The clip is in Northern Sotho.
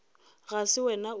ga se wena o ka